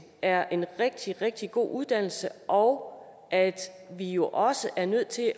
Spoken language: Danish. er en rigtig rigtig god uddannelse og at vi jo også er nødt til